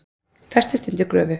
Festist undir gröfu